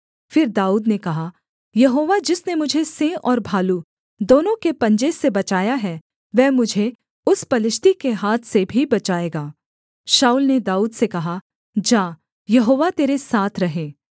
फिर दाऊद ने कहा यहोवा जिसने मुझे सिंह और भालू दोनों के पंजे से बचाया है वह मुझे उस पलिश्ती के हाथ से भी बचाएगा शाऊल ने दाऊद से कहा जा यहोवा तेरे साथ रहे